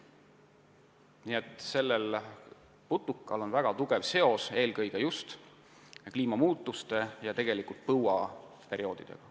Nii et selle putuka tegevusel on väga tugev seos just kliimamuutustega, eelkõige põuaperioodidega.